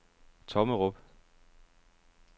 Tommerup